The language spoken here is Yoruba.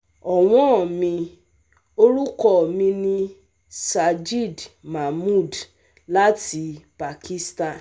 Ọ̀wọ́n mi, orúkọ mi ni Sajid Mahmood láti Pakistan